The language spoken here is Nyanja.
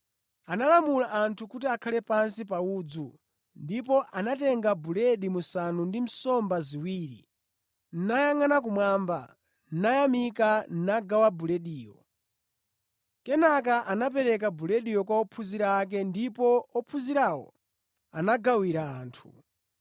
Analamula anthu kuti akhale pansi pa udzu ndipo anatenga buledi musanu ndi nsomba ziwiri nayangʼana kumwamba, nayamika nagawa bulediyo. Kenaka anapereka bulediyo kwa ophunzira ake ndipo ophunzirawo anagawira anthu.